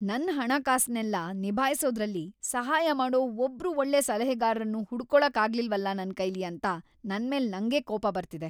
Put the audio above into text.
ನನ್ ಹಣಕಾಸನ್ನೆಲ್ಲ ನಿಭಾಯ್ಸೋದ್ರಲ್ಲಿ ಸಹಾಯ ಮಾಡೋ ಒಬ್ರು ಒಳ್ಳೆ ಸಲಹೆಗಾರ್ರನ್ನೂ ಹುಡುಕ್ಕೊಳಕ್‌ ಆಗಿಲ್ವಲ ನನ್‌ ಕೈಲಿ ಅಂತ ನನ್ಮೇಲ್‌ ನಂಗೇ ಕೋಪ ಬರ್ತಿದೆ.